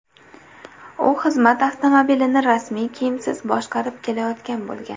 U xizmat avtomobilini rasmiy kiyimsiz boshqarib kelayotgan bo‘lgan.